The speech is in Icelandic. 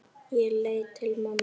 Ég leit til mömmu.